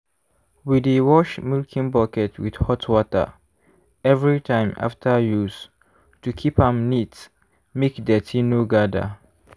we dey wash milking bucket with hot water every time after use to keep am neat make dirty no gather.